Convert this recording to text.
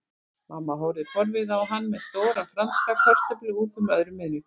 Mamma horfði forviða á hann með stóra franska kartöflu útúr öðru munnvikinu.